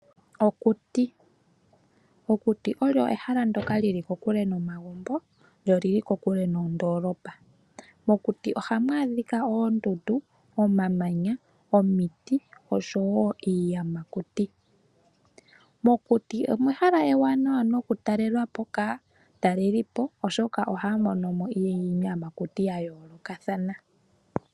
Okuti, okuti olyo ehala ndoka lili kokule nomagumbo lyo lili kokule nondoolopa. Mokuti ohamu adhika oondundu, omamanya, omiti oshowo iiyamakuti. Mokuti omehala ewanawa noku talelapo kaatalelipo oshoka ohaya monomo iiyamakuti yayoolokathana.